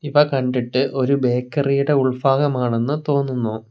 ഇവ കണ്ടിട്ട് ഒരു ബേക്കറിയുടെ ഉൾഭാഗമാണെന്ന് തോന്നുന്നു.